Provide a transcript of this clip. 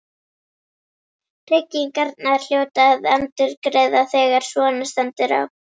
Tryggingarnar hljóta að endurgreiða þegar svona stendur á.